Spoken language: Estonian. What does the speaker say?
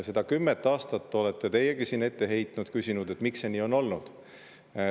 Seda kümmet aastat olete teiegi siin ette heitnud, küsinud, miks see nii on olnud.